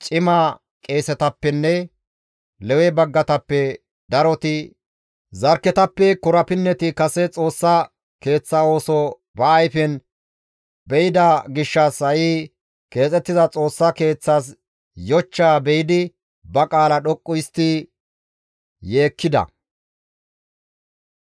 Cima qeesetappenne Lewe baggatappe daroti, zarkketappe korapinneti kase Xoossa Keeththa ooso ba ayfen be7ida gishshas ha7i keexettiza Xoossa Keeththas yochchaa be7idi ba qaala dhoqqu histti yeekkida;